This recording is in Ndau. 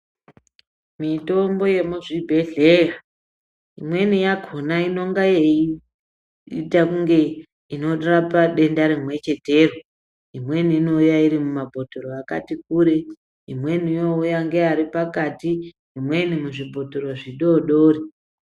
Mitombo yemuzvibhehleya imweni yakona inonga yeita kunge inorapa denda rimwechetero imweni inouya iri mumabhotoro akati kure ,imweni youya ngeari pakati ,imweni muzvibhotoro zvidodori.